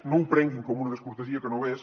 no ho prenguin com una descortesia que no ho és